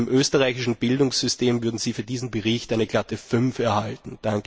Im österreichischen Bildungssystem würden Sie für diesen Bericht eine glatte Fünf erhalten